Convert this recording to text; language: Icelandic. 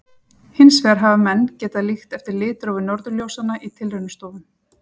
hins vegar hafa menn getað líkt eftir litrófi norðurljósanna í tilraunastofum